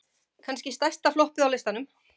Kannski stærsta floppið á listanum?